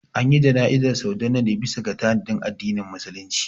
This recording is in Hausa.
Anyi jana'izar Sardauna ne bisa ga tanadin addinin musulunci